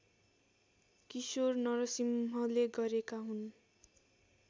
किशोर नरसिंहले गरेका हुन्